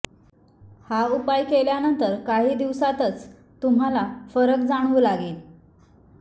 हा उपाय केल्यानंतर काही दिवसांतच तुम्हाला फरक जाणवू लागेल